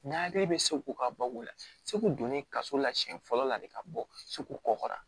N'a hakili bɛ seko ka bɔ o la segu donnen kaso la siyɛn fɔlɔ la de ka bɔ segu kɔkɔra